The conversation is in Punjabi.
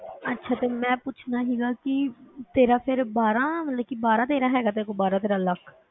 ਅੱਛਾ ਤੇ ਮੈਂ ਪੁੱਛਣਾ ਸੀਗਾ ਕਿ ਤੇਰਾ ਫਿਰ ਬਾਰਾਂ ਮਤਲਬ ਕਿ ਬਾਰਾਂ ਤੇਰਾਂ ਹੈਗਾ ਤੇਰੇ ਕੋਲ, ਬਾਰਾਂ ਤੇਰਾਂ ਲੱਖ?